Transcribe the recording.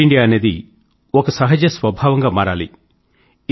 fit India అనేది ఒక సహజ స్వభావం గా మారాలి